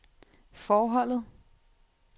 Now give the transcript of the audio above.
forholdet